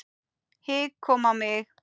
Hik kom á mig.